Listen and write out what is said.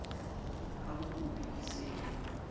ha bakopi e se e